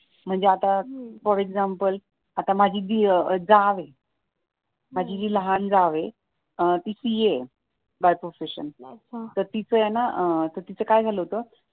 म्हणजे आता for example आता माझी जाव आहे माझी जी लहान जाव आहे ती सी ए आहे बाय प्रॉफेशन तर तीच काय झालं होत